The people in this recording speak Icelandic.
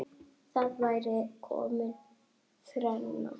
Þá væri komin þrenna.